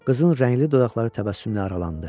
Qızın rəngli dodaqları təbəssümlə aralandı.